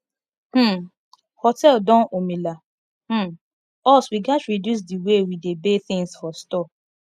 um hotel don omila um us we gat reduce the way we dey bey things for store